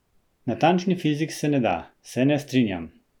Natančni fizik se ne da: "Se ne strinjam.